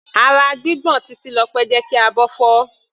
Ara gbígbọ̀n Titilope jẹ́ kí abọ́ fọ́.